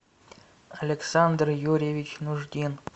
александр юрьевич нуждин